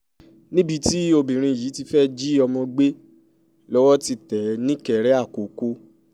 níbi tí obìnrin yìí ti ti fẹ́ẹ́ jí ọmọ gbé lọ́wọ́ ti tẹ̀ é nìkéré àkọ́kọ́